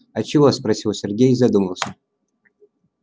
а чего спросил сергей задумался